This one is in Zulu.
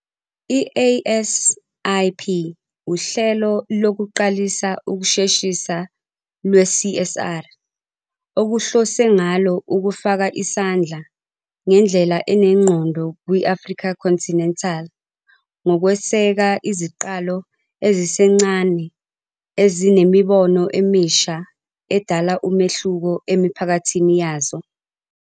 I-ASIP uhlelo lokuqalisa ukusheshisa lwe-CSR, okuhlose ngalo ukufaka isandla ngendlela enengqondo kwi-Afrika Continental ngokweseka iziqalo ezisencane ezinemibono emisha edala umehluko emiphakathini yazo.